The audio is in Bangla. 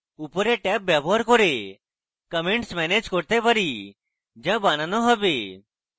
উপরে ট্যাব ব্যবহার করে আমরা comments ম্যানেজ করতে পারি যা বানানো have